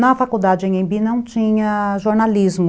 Na faculdade Anhembi não tinha jornalismo,